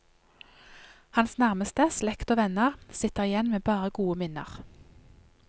Hans nærmeste, slekt og venner, sitter igjen med bare gode minner.